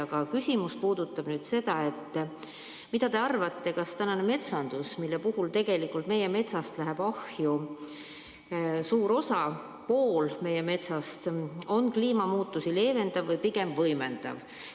Aga mu küsimus: mis te arvate, kas meie metsandus, mille puhul tegelikult suur osa metsast läheb ahju, isegi pool meie metsast, on kliimamuutusi leevendav või pigem võimendav?